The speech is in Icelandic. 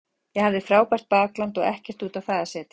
Ég hafði frábært bakland og ekkert út á það að setja.